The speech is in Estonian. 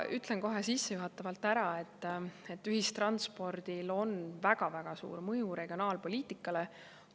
Ütlen kohe sissejuhatavalt ära, et ühistranspordil on väga-väga suur mõju regionaalpoliitikale.